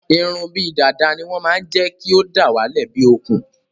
Irun bíi dàda ní wọn máa n jékí o dawale bíi okùn